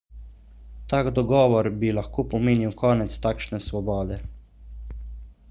tak dogovor bi lahko pomenil konec takšne svobode